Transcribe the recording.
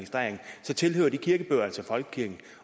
folkekirken